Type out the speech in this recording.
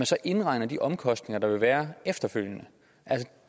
så indregner de omkostninger der vil være efterfølgende